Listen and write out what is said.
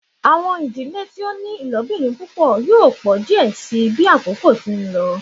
Awọn idile ti o ni ilobirin pupọ yoo jẹ diẹ sii bi akoko ti n lọ